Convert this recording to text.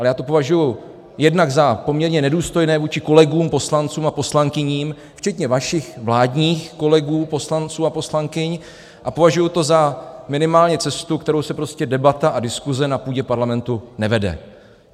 Ale já to považuji jednak za poměrně nedůstojné vůči kolegům poslancům a poslankyním, včetně vašich vládních kolegů poslanců a poslankyň, a považuji to za minimálně cestu, kterou se prostě debata a diskuse na půdě parlamentu nevede.